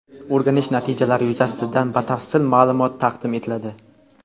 O‘rganish natijalari yuzasidan batafsil ma’lumot taqdim etiladi.